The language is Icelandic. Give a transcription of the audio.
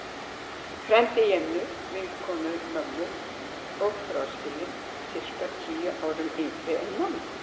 Frændi Jennu, vinkonu mömmu, og fráskilinn, sirka tíu árum yngri en mamma.